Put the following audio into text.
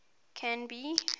canby